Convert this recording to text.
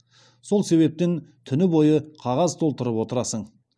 сол себептен түні бойы қағаз толтырып отырасың